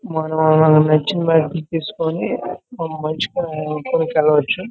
మనకు నచ్చిన బ్యాటరీ తీసుకొని కొనుక్కొని వెళ్లొచ్చు.